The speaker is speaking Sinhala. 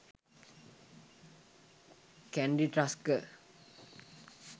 kandy tusker